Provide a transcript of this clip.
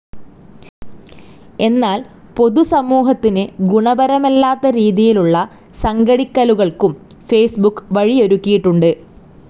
എന്നാൽ പൊതുസമൂഹത്തിന് ഗുണപരമല്ലാത്ത രീതിയിലുള്ള സംഘടിക്കലുകൾക്കും ഫേസ്‌ബുക്ക് വഴിയൊരുക്കിയിട്ടുണ്ട്.